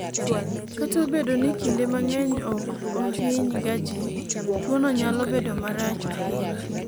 kata obedo ni kinde mang'eny ok ohiny ga jii, tuono nyalo bedo marach ahinya